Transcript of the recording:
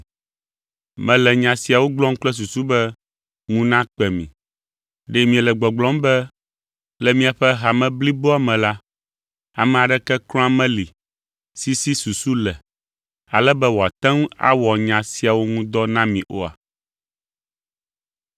Mele nya siawo gblɔm kple susu be ŋu nakpe mi. Ɖe miele gbɔgblɔm be le miaƒe hame bliboa me la, ame aɖeke kura meli si si susu le, ale be wòate ŋu awɔ nya siawo ŋu dɔ na mi oa?